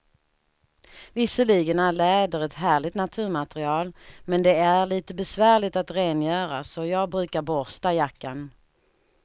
Visserligen är läder ett härligt naturmaterial, men det är lite besvärligt att rengöra, så jag brukar borsta jackan.